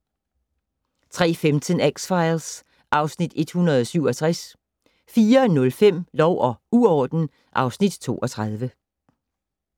03:15: X-Files (Afs. 167) 04:05: Lov og uorden (Afs. 32)